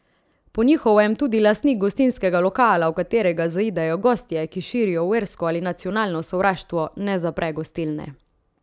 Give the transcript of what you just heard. Po njihovem tudi lastnik gostinskega lokala, v katerega zaidejo gostje, ki širijo versko ali nacionalno sovraštvo, ne zapre gostilne.